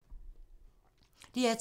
DR2